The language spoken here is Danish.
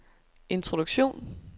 introduktion